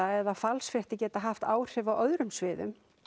eða falsfréttir geta haft áhrif á öðrum sviðum